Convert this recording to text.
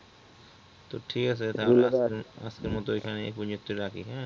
তো ঠিক আছে তাহলে আজকের মতো এখানেই তা রাখি এ